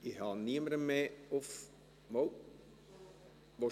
Ich habe niemanden mehr auf der Rednerliste.